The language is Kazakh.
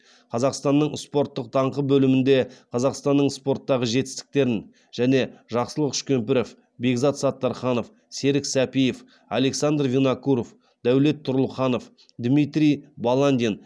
қазақстанның спорттық даңқы бөлімінде қазақстанның спорттағы жетістіктерін және жақсылық үшкемпіров бекзат саттарханов серік сәпиев александр винокуров дәулет тұрлыханов дмитрий баландин